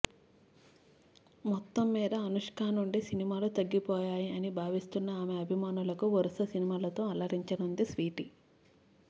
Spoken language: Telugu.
మొత్తం మ్మీద అనుష్క నుండి సినిమాలు తగ్గిపోయాయి అని భావిస్తున్న ఆమె అభిమానులకు వరుస సినిమాలతో అలరించనుంది స్వీటీ